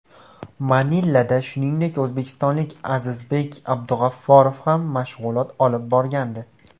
Manilada, shuningdek, o‘zbekistonlik Azizbek Abdug‘afforov ham mashg‘ulot olib borgandi.